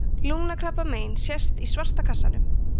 lungnakrabbamein sést í svarta kassanum